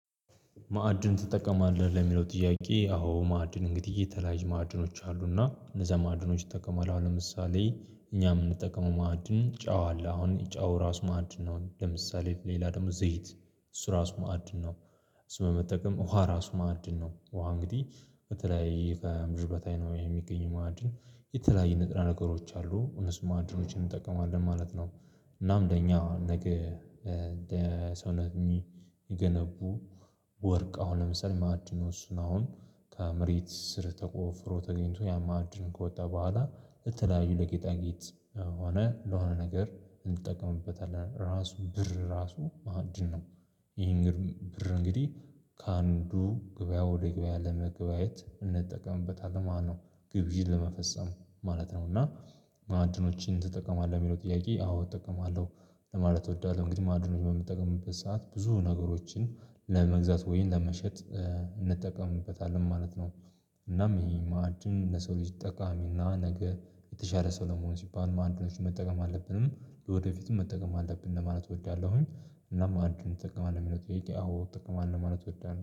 ማዕድን ትጠቀማለህ ለሚለው ጥያቄ አዎ ማዕድን እንግዲህ የተለያዩ ማዕድኖች አሉና እነዛ ማዕድኖች እጠቀማለሁ አሁን ለምሳሌ እኛ ምንጠቀመው ማዕድን ጨው አለ አሁን ጨው ራሱ ማዕድን ነው ለምሳሌ ሌላ ደግሞ ዘይት እሱ ራሱ ማዕድን ነው። እሱ መጠቀም ውሃ ራሱ ማዕድን ነው ውሃ እንግዲህ በተለይ ከምድር በታይ ነው የሚገኝ ማዕድን የተለያየ ንጥረ ነገሮች አሉ እነሱ ማዕድኖችን እንጠቀማለን ማለት ነው። እናም ለኛ ነገ ሰውነት የሚገነቡ ወርቅ አሁን ለምሳሌ ማዕድን ነው አሁን ከመሬት ስር ተቆፍሮ ተገኝቶ ያ ማዕድን ከወጣ በኋላ የተለያዩ ለጌጣጌጥ ሆነ ለሆነ ነገር እንጠቀምበታለን ራሱ ብር ራሱ ማዕድን ነው። ይሄን ብር እንግዲህ ከአንዱ ገበያ ወደ ገበያ ለመገባየት እንጠቀምበታለን ማለትነው ግዥን ለመፈጸም ማለት ነው። እና ማአድኖችን ትጠቀማለህ የሚለው ጥያቄ አዎ እጠቀማለሁ ለማለት እወዳለሁ እንግዲህ ማዕድን በምንጠቀምበት ሰዓት ብዙ ነገሮችን ለመግዛት ወይን ለመሸጥ እንጠቀምበታለን ማለት ነው። እናም ይሄ ማዕድን ለሰው ልጅ ጠቃሚና ነገ የተሻለ ሰው ለመሆን ሲባል ማዕድኖችን መጠቀም አለብን ወደፊትም መጠቀም አለብን ለማለት እወዳለሁኝ። እና ማዕድን ትጠቀማለህ ለሚለው አወ እጠቀማለሁ ማለት እወዳለሁ